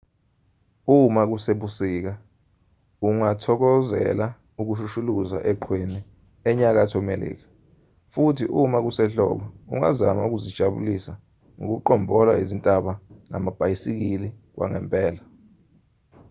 uma kusebusika ungathokokozela ukushushuluza eqhweni enyakatho melika futhi uma kusehlobo ungazama ukuzijabulisa ngokuqombola izintaba ngamabhayisikili kwangempela